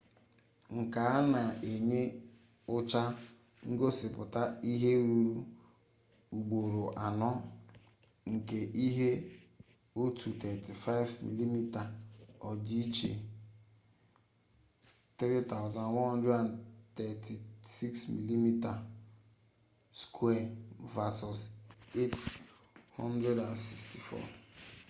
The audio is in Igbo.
nke a na-enye ụcha ngosịpụta ihe ruru ugboro anọ nke ihe otu 35mm odi iche 3136 mm2 vesọs 864